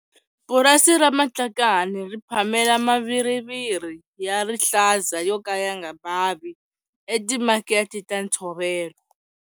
Purasi ra Matlakane ri phamela maviriviri ya rihlaza yo ka ya nga bavi etimakete ta ntshovelo.